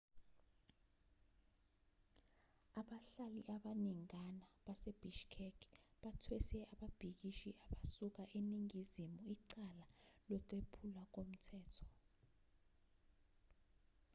abahlali abaningana basebishkek bathwese ababhikishi abasuka eningizimu icala lokwephulwa komthetho